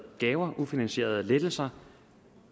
gaver ufinansierede lettelser